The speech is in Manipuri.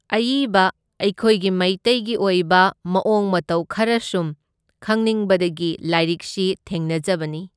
ꯑꯏꯕ ꯑꯩꯈꯣꯏꯒꯤ ꯃꯩꯇꯩꯒꯤ ꯑꯣꯏꯕ ꯃꯑꯣꯡ ꯃꯇꯧ ꯈꯔ ꯁꯨꯝ ꯈꯪꯅꯤꯡꯕꯗꯒꯤ ꯂꯥꯏꯔꯤꯛꯁꯤ ꯊꯦꯡꯅꯖꯕꯅꯤ꯫